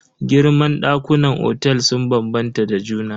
Girman ɗakunan otel sun bambanta da juna.